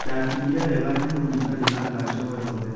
Ndakinyire wega Nyahururu itarĩ na nganja o-yothe.